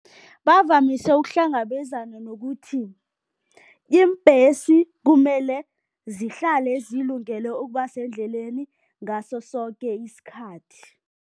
Bavamise ukuhlangabezana nokuthi, iimbhesi kumele zihlale zilungele ukuba sendleleni ngaso soke isikhathi.